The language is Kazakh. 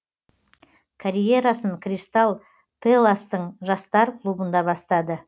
карьерасын кристалл пэластың жастар клубында бастады